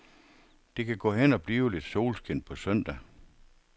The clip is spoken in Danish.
Det kan gå hen og blive lidt solskin på søndag.